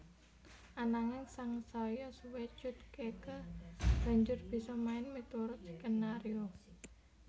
Ananging sangsaya suwé Cut Keke banjur bisa main miturut skenario